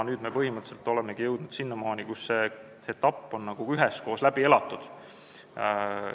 Nüüd me põhimõtteliselt olemegi jõudnud selleni, et see etapp on üheskoos läbi elatud.